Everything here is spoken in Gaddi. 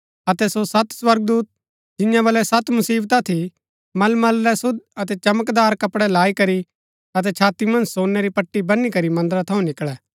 अतै सो सत स्वर्गदूत जिंआं बलै सत मुसिवता थी मलमल रै शुद्ध अतै चमकदार कपड़ै लाई करी अतै छाती मन्ज सोनै री पट्टी वनी करी मन्दरा थऊँ निकळै